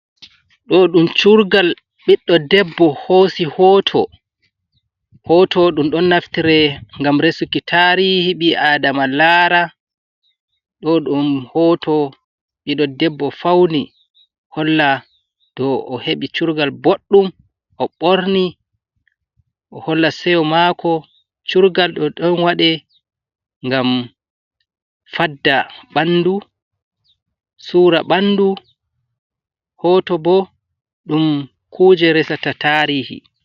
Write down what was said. Ɗo ɗum curgal ɓiɗɗo debbo hosi hoto, hoto ɗum ɗon naftire ngam resuki tarihi ɓi-adama lara ɗo ɗum hoto ɓiɗɗo debbo fauni holla do o heɓi curgal boɗɗum, o ɓorni o holla seyo maako curgal do ɗon waɗe ngam fadda ɓandu suura ɓandu hoto bo ɗum kuje resata tarihi.